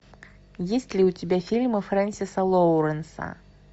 есть ли у тебя фильмы фрэнсиса лоуренса